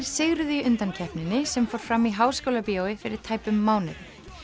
sigruðu í undankeppninni sem fór fram í Háskólabíói fyrir tæpum mánuði